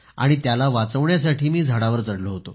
त्याला वाचवण्यासाठी मी झाडावर चढलो होतो